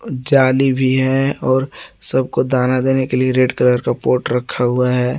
जाली भी है और सबको दाना देने के लिए रेड कलर का पॉट रखा हुआ है।